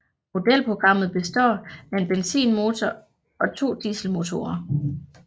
Modelprogrammet består af en benzinmotor og to dieselmotorer